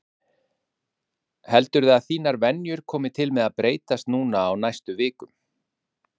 Sólveig Bergmann: Heldurðu að þínar venjur komi til með að breytast núna á næstu vikum?